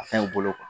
A fɛn u bolo